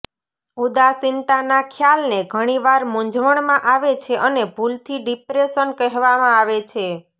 ઉદાસીનતાના ખ્યાલને ઘણીવાર મૂંઝવણમાં આવે છે અને ભૂલથી ડિપ્રેસન કહેવામાં આવે છે